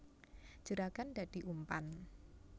Juragan dadi umpan